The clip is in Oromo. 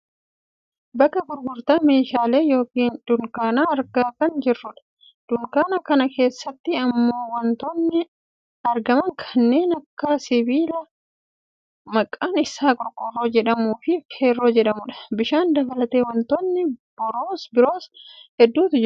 bakka gurgurtaa meeshaalee yookaan dunkaana argaa kan jirrudha. dunkaana kana keessatti ammoo wantootni argaman kannen akka sibiila maqaan isaa qorqoorroo jedhamuufi feerroo jedhamudha. bishaan dabalatee wantootni boroos hedduutu kan jiranidha.